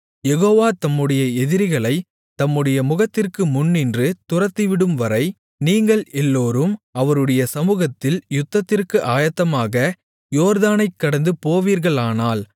யெகோவா தம்முடைய எதிரிகளைத் தம்முடைய முகத்திற்கு முன்னின்று துரத்திவிடும்வரை நீங்கள் எல்லோரும் அவருடைய சமுகத்தில் யுத்தத்திற்கு ஆயத்தமாக யோர்தானைக் கடந்து போவீர்களானால்